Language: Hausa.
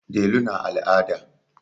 Delu na al'ada.